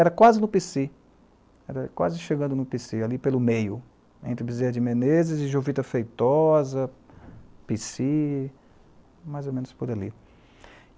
Era quase chegando no pê cê, ali pelo meio, entre Bizer de Menezes e Jovita Feitosa, pê cê, mais ou menos por ali.